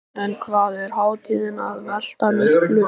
En hvað er hátíðin að velta miklu?